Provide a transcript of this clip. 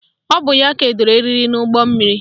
Ọ bụ ya kedoro eriri n'ụgbọmmiri